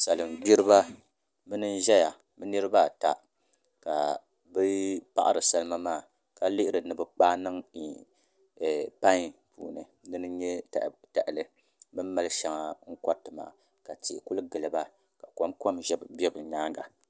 Salin gbiriba bini n ʒɛya bi nirabaata ka bi paɣari salima maa ka lihiri ni bi kpaai niŋ pai puuni dini n nyɛ tahali bin mali shɛŋa n koriti maa ka tihi ku giliba ka kom kom bɛ bi nyaanga